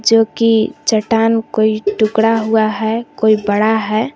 जो की चट्टान कोई टुकड़ा हुआ है कोई बड़ा है।